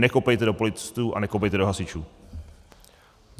Nekopejte do policistů a nekopejte do hasičů.